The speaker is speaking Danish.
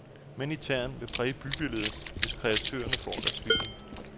Mænd i tern vil præge bybilledet, hvis kreatørerne får deres vilje.